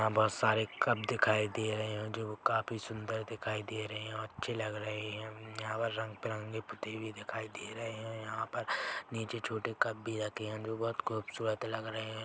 यहाँ बहोत सारे कप दिखाई दे रहे है जो वो काफी सुंदर दिखाई दे रहे है और अच्छे लग रहे है उम्म यहाँ पर रंग-बिरंगे पुते हुए दिखाई दे रहे है यहाँ पर नीचे छोटे कप भी रखे है जो बहोत खूबसूरत लग रहे है।